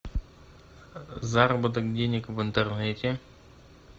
заработок денег в интернете